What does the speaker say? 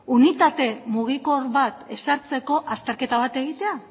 unitate mugikor bat ezartzeko azterketa bat egitea